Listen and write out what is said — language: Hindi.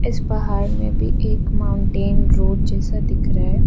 इस पहाड़ में भी एक माउंटेन रोड जैसा दिख रहा है।